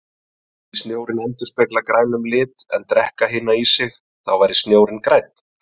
Myndi snjórinn endurspegla grænum lit en drekka hina í sig, þá væri snjórinn grænn.